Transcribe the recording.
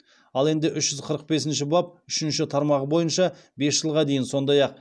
ал енді үш жүз қырық бесінші бап үшінші тармағы бойынша бес жылға дейін